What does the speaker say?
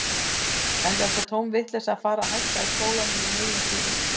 Enda er það tóm vitleysa að fara að hætta í skólanum í miðjum klíðum.